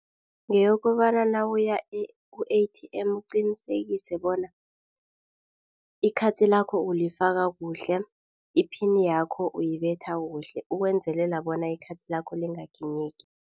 Ngeyokobana nawuya ku-A_T_M uqinisekise bona ikhathi lakho ulifaka kuhle. Iphini yakho uyibetha kuhle, ukwenzelela bona ikhathi lakho lingaginyeki.